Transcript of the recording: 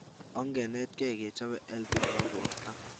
Ongenetkei kechope health nebo borta